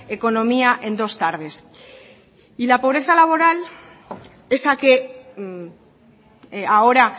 economía en dos tardes y la pobreza laboral esa que ahora